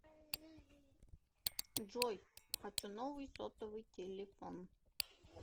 джой хочу новый сотовый телефон